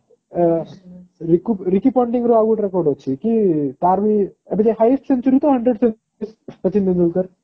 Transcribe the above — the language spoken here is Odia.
ରୀକୁ ରିକୀ ର ଆଉ ଗୋଟେ record ଅଛି କି ତାର ବି ଏବେ ତ highest century hundred Sachin Tendulkar